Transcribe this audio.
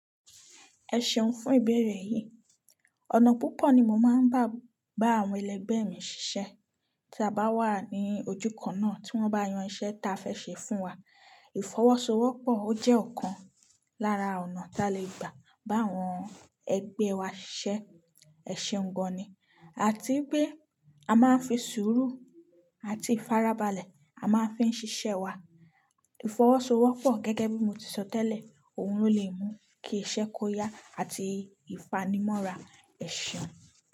Ẹ ṣeun fún ìbéèrè yìí. Ọ̀nà púpọ̀ ni mo máa ń bá, bá àwọn ẹlẹgbẹ́ mi ṣiṣẹ́. Tí a bá wà ní ojúkan náà, tí wọ́n bá yan iṣẹ́ ta fẹ́ ṣe fún wa. Ìfọwọ́sowọ́pọ̀ ó jẹ́ ọ̀kan lára ọ̀nà ta lè gbà bá àwọn ẹgbẹ́ wa ṣiṣẹ́. Ẹ ṣeun gan ni. Àti pé a máa ń fi sùúrù àti ìfarabalẹ̀, a máa ń fi ṣiṣẹ́ wa. Ìfọwọ́sowọ́pọ̀ gẹ́gẹ́ bí mo ti sọ tẹ́lẹ̀, òun ló lè mú kí iṣẹ́ kó yá àti ìfanimọ́ra. Ẹ ṣeun.